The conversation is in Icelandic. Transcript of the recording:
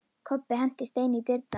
Kobbi henti steini í dyrnar.